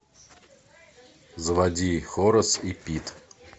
заводи хорас и пит